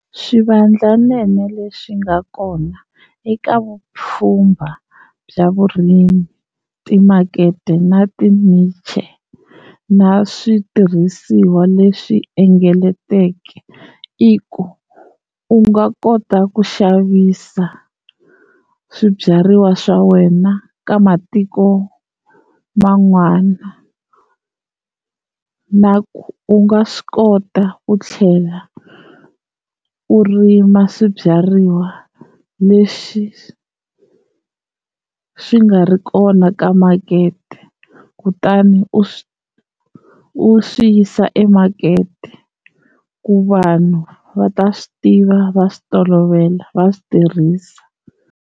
Swivandlanene leswi nga kona eka vupfhumba bya vurimi, timakete na ti-niche, na switirhisiwa leswi engetelekeke i ku u nga kota ku xavisa swibyariwa swa wena ka matiko man'wana, na ku u nga swi kota ku tlhela u rima swibyariwa leswi swi nga ri kona ka makete kutani u swi u swi yisa e makete ku vanhu va ta swi tiva va swi tolovela va swi tirhisa.